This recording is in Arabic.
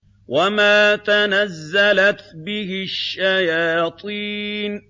وَمَا تَنَزَّلَتْ بِهِ الشَّيَاطِينُ